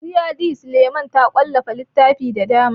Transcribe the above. Fauziyya D. Suleiman ta wallafa littatafai da dama.